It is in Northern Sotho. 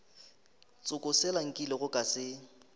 tsoko sela nkilego ka se